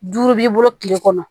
Duuru b'i bolo kile kɔnɔ